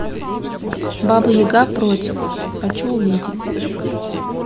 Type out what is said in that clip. баба яга против хочу увидеть